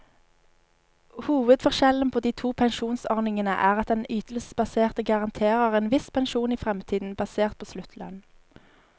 Hovedforskjellen på de to pensjonsordningene er at den ytelsesbaserte garanterer en viss pensjon i fremtiden, basert på sluttlønn.